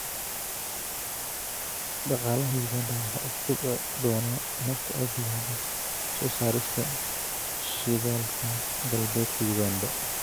Dhaqaalaha Uganda waxa uu kobci doonaa marka ay bilowdo soo saarista shidaalka Galbeedka Uganda.